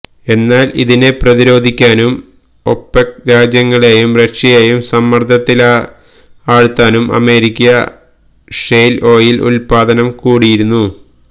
എന്നാൽ ഇതിനെ പ്രതിരോധിക്കാനും ഒപെക് രാജ്യങ്ങളെയും റഷ്യയെയും സമർദ്ദത്തിലാഴ്ത്താനും അമേരിക്ക ഷെയ്ൽ ഓയിൽ ഉത്പാദനം കൂടിയിരുന്നു